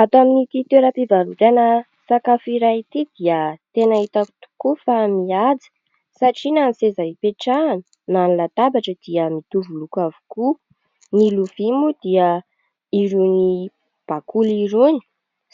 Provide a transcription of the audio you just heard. Ato amin'ity toeram-pivarotana sakafo iray ity dia tena hitako tokoa fa mihaja satria na ny seza hipetrahana na ny latabatra dia mitovy loko avokoa, ny lovia moa dia irony bakoly irony,